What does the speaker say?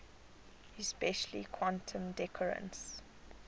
especially quantum decoherence